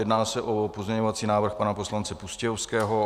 Jedná se o pozměňovací návrh pana poslance Pustějovského.